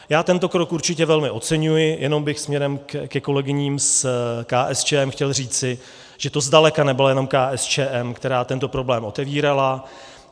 Já tento krok určitě velmi oceňuji, jenom bych směrem ke kolegyním z KSČM chtěl říci, že to zdaleka nebyla jenom KSČM, která tento problém otevírala.